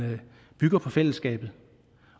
bygger på fællesskabet